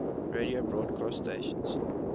radio broadcast stations